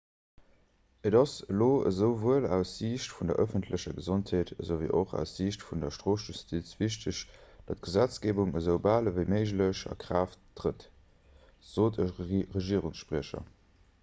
et ass elo esouwuel aus siicht vun der ëffentlecher gesondheet ewéi och aus siicht vun der strofjustiz wichteg datt d'gesetzgeebung esoubal ewéi méiglech a kraaft trëtt sot e regierungsspriecher